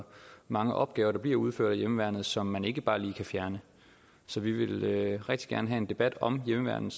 mange opgaver der bliver udført af hjemmeværnet som man ikke bare lige kan fjerne så vi vil rigtig gerne have en debat om hjemmeværnet